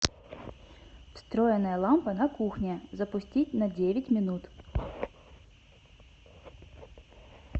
встроенная лампа на кухне запустить на девять минут